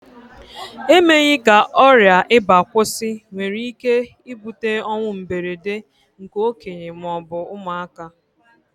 Emeghị ka ọrià ịba kwụsị nwere ike ibute ọnwụ mberede nke okenye ma ọ bụ ụmụaka